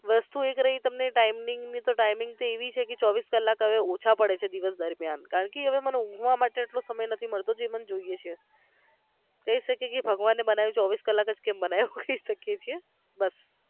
વસ્તુ એક રહી તમને timing તો timing એવી છે કે હવે ચોવીસ કલાક ઓછા પડે છે હવે દિવસ દરમિયાન કારણકે હવે ઉંઘવા માટે મને એટલો સમય એટલો નથી મળતો કે જે મને જોઈયે છે કહી શકીએ કે ભગવાને બનાવ્યા તો ચોવીસ કલાક જ કેમ બનાવ્યા એવું કહી શકીએ છીએ બસ